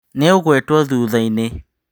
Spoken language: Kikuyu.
Nĩũgũĩtwo thutha-inĩ.